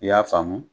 I y'a faamu